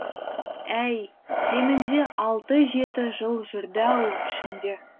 әй кемінде алты жеті жыл жүрді ау ішімде